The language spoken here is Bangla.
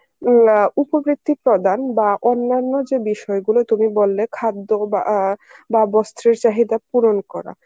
উম না উপ বৃত্তিক প্রধান বা অন্যান্য যে বিষয় গুলি তুমি বললে, খাদ্য বা, বা বস্তির চাহিদা পূরণ করা